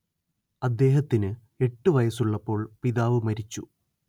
അദ്ദേഹത്തിന്‌ എട്ടു വയസ്സുള്ളപ്പോൾ പിതാവ് മരിച്ചു